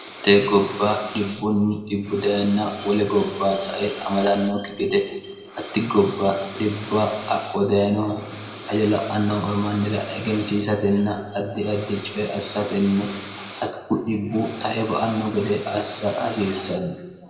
itee gobba dhibbunni dibbu dayinn wole gobba sae amalannookki gede hatti gobba dhibba akko dayinoha haja la'annoho ormannira egensiisatenna addi addice assatenni hatiku dibbu tae ba anno gede assa hasiissanno